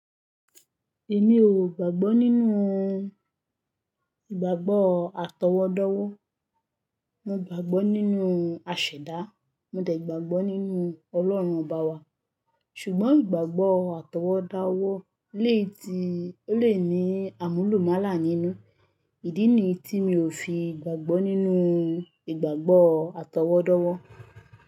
Èmi ò gbàgbọ́ nínú ìgbàgbọ́ àtọwọ́dáwọ́. Mo gbàgbọ́ nínú àṣẹ̀dá, mo dẹ̀ gbàgbọ́ nínú Ọlọ́run Ọba wa, ṣùgbọ́n ìgbàgbọ́ àtọwọ́dáwọ́ lè ti, ó lè ní àmúlùmálà nínú. Ìdí ni yí tí mi ò fi gbàgbọ́ nínú ìgbàgbọ́ àtọwọ́dọ́wọ́